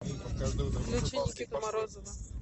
включи никиту морозова